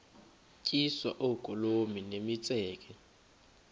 tyiswa oogolomi nemitseke